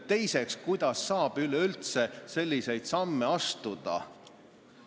Teiseks, kuidas saab üleüldse selliseid samme astuda?